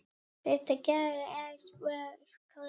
En glöggt er gests augað.